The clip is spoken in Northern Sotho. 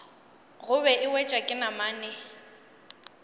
gobe e wetšwa ke namane